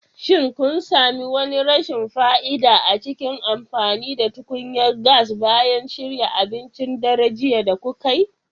Shin kun sami wani rashin fa'ida a cikin amfani da tukunyar gas bayan shirya abincin daren jiya da kukai?